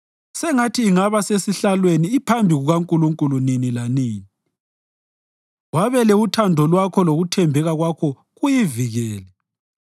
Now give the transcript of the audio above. Sengathi ingaba sesihlalweni iphambi kukaNkulunkulu nini lanini; wabele uthando Lwakho lokuthembeka Kwakho kuyivikele.